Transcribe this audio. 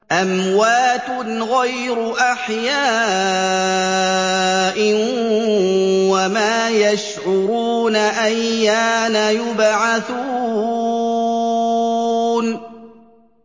أَمْوَاتٌ غَيْرُ أَحْيَاءٍ ۖ وَمَا يَشْعُرُونَ أَيَّانَ يُبْعَثُونَ